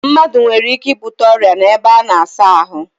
Mmadu nwere ike ibute oria n'ebe a na-asa ahu